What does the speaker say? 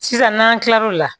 Sisan n'an kila l'o la